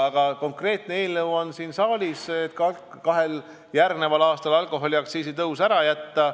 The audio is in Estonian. Aga konkreetne eelnõu on siin saalis, selleks et kahel järgmisel aastal alkoholiaktsiisi tõus ära jätta.